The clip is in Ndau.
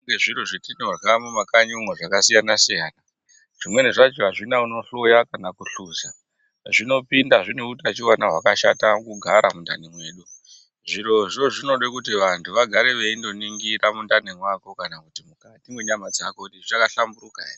Kune zviro zvetinorya mumakanyi umwo zvakasiyana-siyana. Zvimweni zvacho hazvina unohloya kana kuhluza zvinopinda zvinehutachiwana hwakashata kugara mundani mwedu. Zvirozvo zvinode kuti vantu vagare veindoningira mundani mwako kana kuti mukati mwenyama dzako kuti zvichakahlamburuka here.